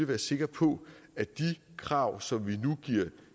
være sikre på at de krav som vi nu giver